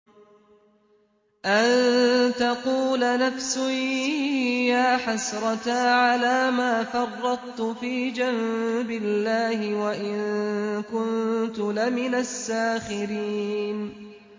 أَن تَقُولَ نَفْسٌ يَا حَسْرَتَا عَلَىٰ مَا فَرَّطتُ فِي جَنبِ اللَّهِ وَإِن كُنتُ لَمِنَ السَّاخِرِينَ